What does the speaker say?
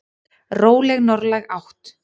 Róleg norðlæg átt